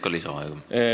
Palun!